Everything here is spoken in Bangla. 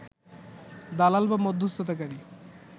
দালাল বা মধ্যস্থতাকারী